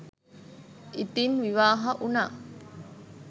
ඉතින් විවාහ වුණා